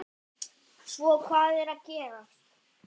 Svo hvað er að gerast?